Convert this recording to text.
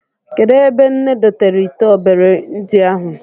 Kedụ ebe nne dotere ite obere ndị ahụ?